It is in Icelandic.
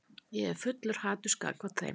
Ég er fullur haturs gagnvart þeim.